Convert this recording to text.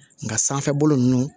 Nka sanfɛ bolo ninnu